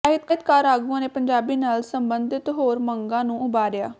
ਸਾਹਿਤਕਾਰ ਆਗੂਆਂ ਨੇ ਪੰਜਾਬੀ ਨਾਲ ਸਬੰਧਤ ਹੋਰ ਮੰਗਾਂ ਨੂੰ ਉਭਾਰਿਆ